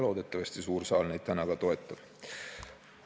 Loodetavasti toetab seda täna ka suur saal.